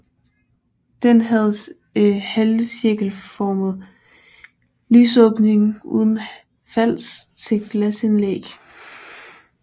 Den havde halvcirkelformet lysåbning uden fals til glasindlæg